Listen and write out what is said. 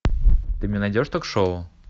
ты мне найдешь ток шоу